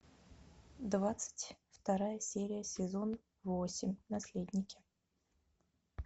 двадцать вторая серия сезон восемь наследники